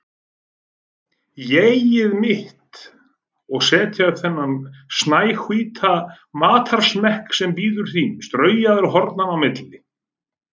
ÉG-ið mitt, og setja upp þennan snæhvíta matarsmekk sem bíður þín straujaður hornanna á milli.